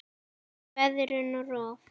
Veðrun og rof